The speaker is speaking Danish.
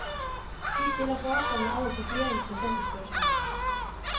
De stiller forskerne over for flere interessante spørgsmål.